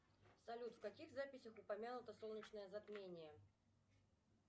салют в каких записях упомянуто солнечное затмение